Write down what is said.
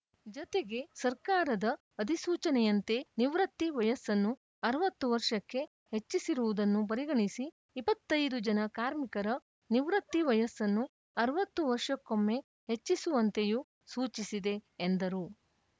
ಜತೆಗೆ ಸರ್ಕಾರದ ಅಧಿಸೂಚನೆಯಂತೆ ನಿವೃತ್ತಿ ವಯಸ್ಸನ್ನು ಅರವತ್ತು ವರ್ಷಕ್ಕೆ ಹೆಚ್ಚಿಸಿರುವುದನ್ನು ಪರಿಗಣಿಸಿ ಇಪ್ಪತ್ತ್ ಐದು ಜನ ಕಾರ್ಮಿಕರ ನಿವೃತ್ತಿ ವಯಸ್ಸನ್ನು ಅರವತ್ತು ವರ್ಷಕ್ಕೊಮ್ಮೆ ಹೆಚ್ಚಿಸುವಂತೆಯೂ ಸೂಚಿಸಿದೆ ಎಂದರು